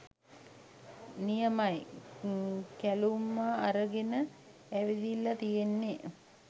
නියමයි කැළුමා අරගෙන ඇවිදිල්ල තියෙන්නේ